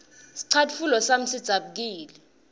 scatfulo sami sidzabukile